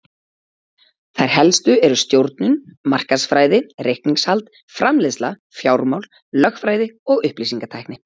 Þær helstu eru stjórnun, markaðsfræði, reikningshald, framleiðsla, fjármál, lögfræði og upplýsingatækni.